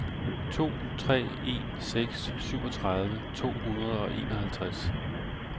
to tre en seks syvogtredive to hundrede og enoghalvtreds